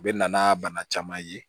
U bɛ na n'a bana caman ye